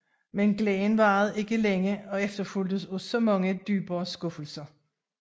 Men glæden varede ikke længe og efterfulgtes af så meget dybere skuffelse